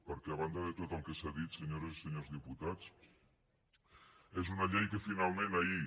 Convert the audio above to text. perquè a banda de tot el que s’ha dit senyores i senyors diputats és una llei que finalment ahir